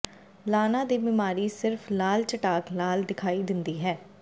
ਲਾਨਾ ਦੀ ਬਿਮਾਰੀ ਸਿਰਫ ਲਾਲ ਚਟਾਕ ਨਾਲ ਦਿਖਾਈ ਦਿੰਦੀ ਹੈ